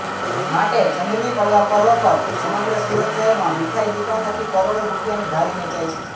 માટે ચંદની પડવા પર્વ પર સમગ્ર સુરત શહેરમાં મીઠાઈ દુકાનોથી કરોડો રૂપિયાની ઘારી વેચાય છે